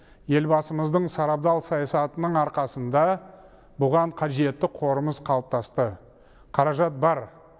елбасымыздың сарабдал саясатының арқасында бұған қажетті қорымыз қалыптасты қаражат бар